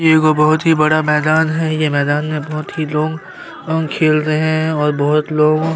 एगो बहोत ही बड़ा मैदान है ये मैदान में बहोत ही लोग लोग खेल रहे है और बहोत लोग--